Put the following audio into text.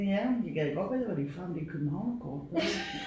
Ja jeg gad godt vide hvor de er fra om det københavnerkort det der